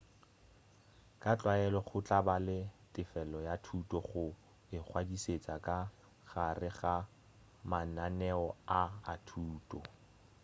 ka tlwaelo go tla ba le tefelo ya thuto go ingwadišetšeng ka gare ga mananeo a a thuto